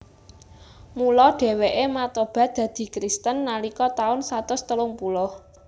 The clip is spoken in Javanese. Mula dhèwèké matobat dadi Kristen nalika taun satus telung puluh